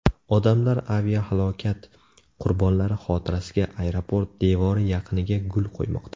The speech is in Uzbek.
Odamlar aviahalokat qurbonlari xotirasiga aeroport devori yaqiniga gul qo‘ymoqda.